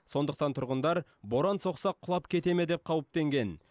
сондықтан тұрғындар боран соқса құлап кете ме деп қауіптенген